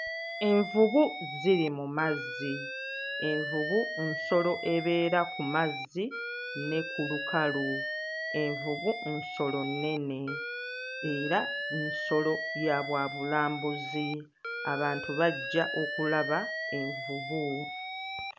Envubu ziri mu mazzi. Envubu nsolo ebeera ku mazzi ne ku lukalu. Envubu nsolo nnene era nsolo ya bwa bulambuzi. Abantu bajja okulaba envubu.